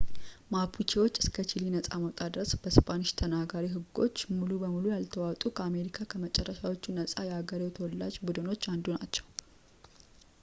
ማፑቼዎች እስከ ቺሊ ነጻ መውጣት ድረስ በስፓኒሽ ተናጋሪ ህጎች ሙሉ በሙሉ ያልተዋጡ ከአሜሪካ ከመጨረሻዎቹ ነጻ የአገሬው ተወላጅ ቡድኖች አንዱ ናቸው